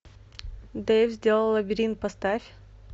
дэйв сделал лабиринт поставь